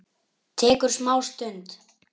Tekur smá stund.